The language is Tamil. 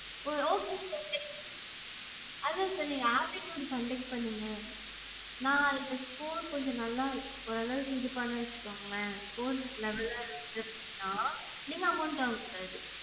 okay sir, okay. அதான் sir நீங்க aptitude conduct பண்ணுங்க. நான் அதுல score கொஞ்சம் நல்லா ஓரளவுக்கு இது பண்ணேன் வச்சுக்கோங்களே score நல்லா இருந்துச்சு அப்டினா நீங்க amount வாங்கக்கூடாது.